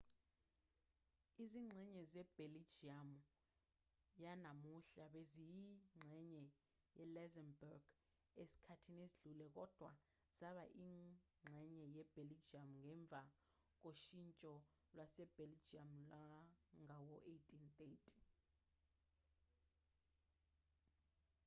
izingxenye zebheljiyamu yanamuhla beziyingxenye ye-luxembourg esikhathini esidlule kodwa zaba yingxenye yebheljiyamu ngemva koshintsho lwasebheljiyamu lwangawo-1830